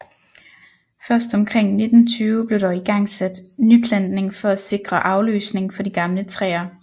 Først omkring 1920 blev der igangsat nyplantning for at sikre afløsning for de gamle træer